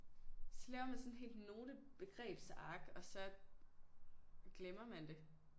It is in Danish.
Så laver man sådan et helt note begrebsark og så glemmer man det